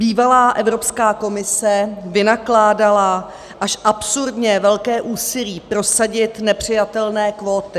Bývalá Evropská komise vynakládala až absurdně velké úsilí prosadit nepřijatelné kvóty.